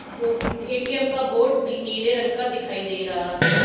दो ए_टी_एम का बोर्ड बि नीले रंग का दिखाई दे रहा है।